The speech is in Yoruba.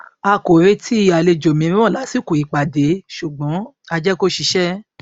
a kò retí àlejò mìíràn lásìkò ìpàdé ṣùgbọn a jẹ kó ṣiṣẹ